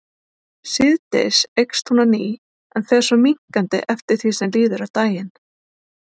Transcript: Síðdegis eykst hún á ný en fer svo minnkandi eftir því sem líður á daginn.